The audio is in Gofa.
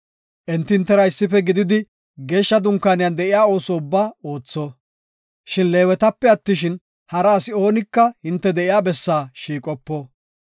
Enti hintera issife gididi geeshsha Dunkaaniyan de7iya ooso ubbaa ootho. Shin Leewetape attishin, hara asi oonika hinte de7iya bessaa shiiqopo.